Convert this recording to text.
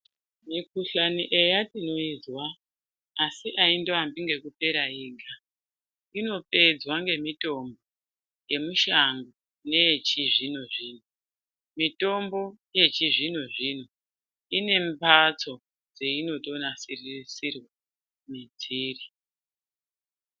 Mikhuhlani eya tinoizwa asi aindoambi ngekupera yega inopedza nemitombo yemushango neyechizvino-zvino, mitombo yechizvino-zvino ine mbatso dzeinotonasirisirwa mwedziri.